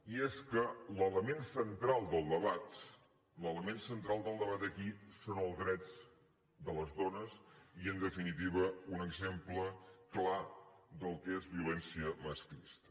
i és que l’element central del debat l’element central del debat aquí són els drets de les dones i en definitiva un exemple clar del que és violència masclista